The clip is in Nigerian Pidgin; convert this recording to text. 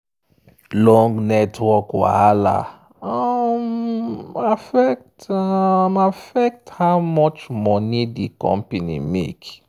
long network wahala um affect um affect how much money di company make.